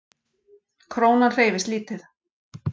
Krónan hreyfist lítið